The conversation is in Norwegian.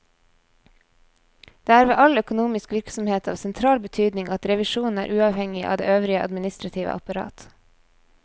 Det er ved all økonomisk virksomhet av sentral betydning at revisjonen er uavhengig av det øvrige administrative apparat.